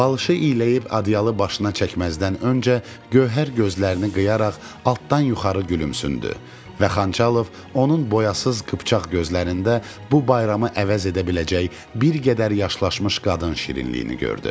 Balışı iyləyib ədyalı başına çəkməzdən öncə Gövhər gözlərini qıyaraq altdan yuxarı gülümsündü və Xançalov onun boyasız qıpçaq gözlərində bu bayramı əvəz edə biləcək bir qədər yaşlaşmış qadın şirinliyini gördü.